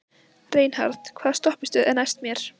Reinhart, hvaða stoppistöð er næst mér?